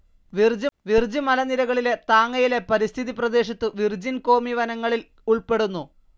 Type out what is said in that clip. വിർജ് മലനിരകളിലെ താങ്ങയിലെ പരിസ്ഥിതി പ്രദേശത്തു വിർജിൻ കോമി വനങ്ങളിൽ ഉൾപ്പെടുന്നു.